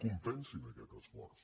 compensin aquest esforç